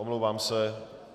Omlouvám se.